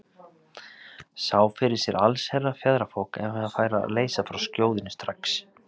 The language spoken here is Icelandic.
Sá fyrir sér allsherjar fjaðrafok ef hann færi að leysa frá skjóðunni strax.